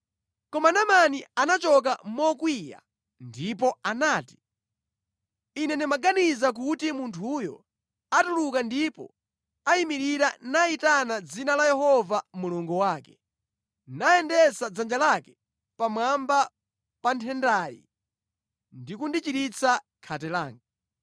Koma Naamani anachoka mokwiya ndipo anati, “Ine ndimaganiza kuti munthuyu atuluka ndipo ayimirira nayitana dzina la Yehova Mulungu wake, nayendetsa dzanja lake pamwamba pa nthendayi ndi kundichiritsa khate langa.